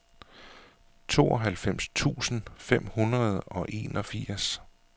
tooghalvfems tusind fem hundrede og enogfirs